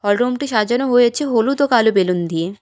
Room -টি সাজানো হয়েছে হলুদ ও কালো বেলুন দিয়ে।